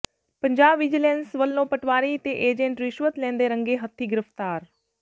Punjab vigilance ਵੱਲੋਂ ਪਟਵਾਰੀ ਤੇ agent ਰਿਸ਼ਵਤ ਲੈਂਦੇ ਰੰਗੇ ਹੱਥੀ ਗ੍ਰਿਫ਼ਤਾਰ